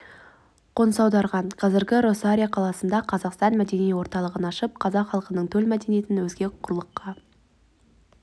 қоныс аударған қазір росарио қаласында қазақстан мәдени орталығын ашып қазақ халқының төл мәдениетін өзге құрлықта